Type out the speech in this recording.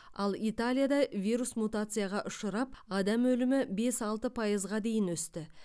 ал италияда вирус мутацияға ұшырап адам өлімі бес алты пайызға дейін өсті